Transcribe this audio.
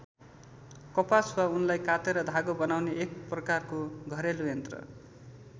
कपास वा उनलाई कातेर धागो बनाउने एक प्रकारको घरेलु यन्त्र।